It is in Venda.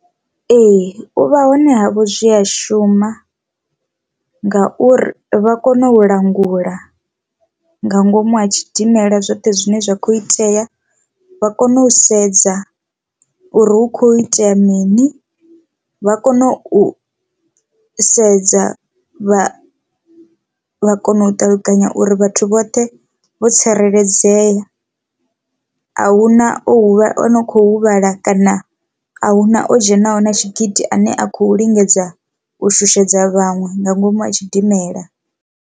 Ee, u vha hone ha vho zwi a shuma ngauri vha kona u langula nga ngomu ha tshidimela zwoṱhe zwine zwa khou itea vha kona u sedza uri hu kho itea mini vha kona u sedza vha vha kona u ṱalukanya uri vhathu vhoṱhe vho tsireledzea, ahuna o huvhala o no kho huvhala kana ahuna o dzhenaho na tshigidi ane a khou lingedza u shushedza vhaṅwe nga ngomu a tshidimela.